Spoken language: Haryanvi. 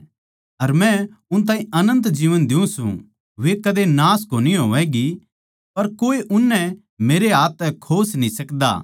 अर मै उन ताहीं अनन्त जीवन दियुँ सूं वे कद्दे नाश कोनी होवैगीं अर कोए उननै मेरै हाथ तै खोस न्ही सकदा